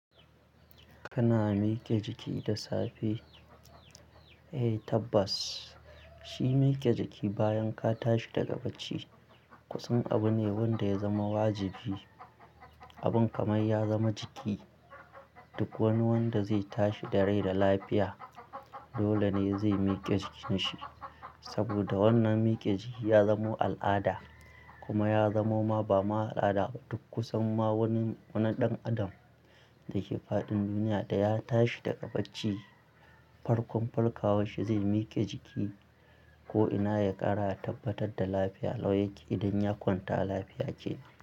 Kana mike jiki da safe? Eh tabbas shi mike jiki bayan ka tashi daga bacci kusan abu ne wanda ya zama wajibi. Abun kamai ya zama jiki, duk wani wanda zai tashi da rai da lafiya dole ne zai mike jikinsa. Saboda wannan mike jiki ya zamo al'ada kuma ya zamo ma ba ma al'ada. Duk kusan ma wani wani ɗan adam da ke faɗin duniya da ya tashi daga bacci, farkon farkawan shi zai mike jiki ko'ina ya ƙara tabbatar da lafiya lau yake idan ya kwanta lafiya ya kenan.